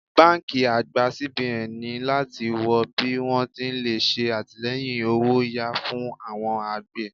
Báńkì àgbà CBN ní láti wọ bí wón ti lè ṣe àtìleyìn owó'yá fún awon àgbè.